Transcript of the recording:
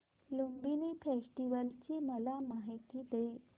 Lumbini festival ची मला माहिती दे